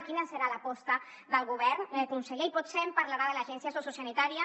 quina serà l’aposta del govern conseller i potser em parlarà de l’agència socio sanitària